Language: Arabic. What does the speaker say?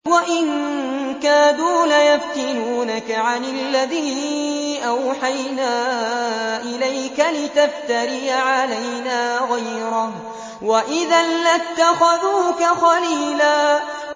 وَإِن كَادُوا لَيَفْتِنُونَكَ عَنِ الَّذِي أَوْحَيْنَا إِلَيْكَ لِتَفْتَرِيَ عَلَيْنَا غَيْرَهُ ۖ وَإِذًا لَّاتَّخَذُوكَ خَلِيلًا